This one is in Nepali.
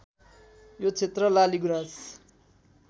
यो क्षेत्र लाली गुराँस